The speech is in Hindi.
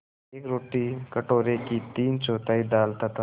एक रोटी कटोरे की तीनचौथाई दाल तथा